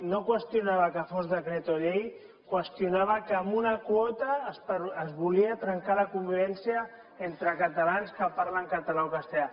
no qüestionava que fos decret o llei qüestionava que amb una quota es volia trencar la convivència entre catalans que parlen català o castellà